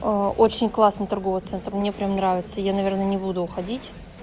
очень классно торговый центр мне прям нравится я наверное не буду уходить